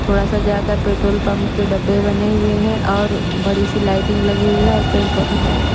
थोड़ा सा जाकर पेट्रोल पम्प के दुब्बे बने हुए हैं और बड़ी सी लाइटिंग लगी हुई हे और पेड़ पोधे लगे हुए हे ।